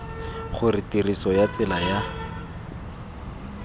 gore tiriso ya tsela ya